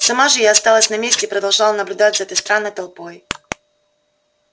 сама же я осталась на месте и продолжала наблюдать за этой странной толпой